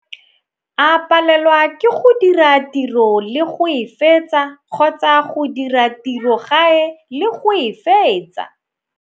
A palelwa ke go dira tiro le go e fetsa kgotsa go dira tiro gae le go e fetsa.